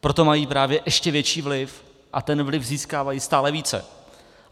Proto mají právě ještě větší vliv a ten vliv získávají stále více.